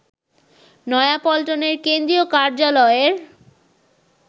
নয়াপল্টনের কেন্দ্রীয় কার্যালয়ের